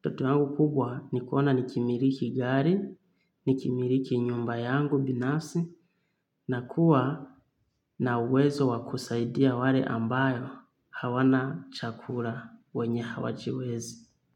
Ndoto yangu kubwa ni kuona nikimiliki gari, nikimiliki nyumba yangu binasi, na kuwa na uwezo wa kusaidia wale ambayo hawana chakula wenye hawajiwezi.